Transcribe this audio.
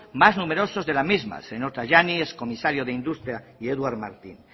más numerosos de la misma el señor tajani ex comisario de industria y eduard martín